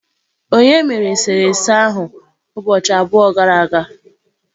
Onye mere eserese ahụ ụbọchị abụọ gara aga?